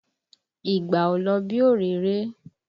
Ìgbà ò lọ bí òréré!